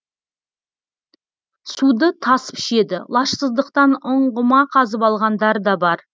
суды тасып ішеді лажсыздықтан ұңғыма қазып алғандар да бар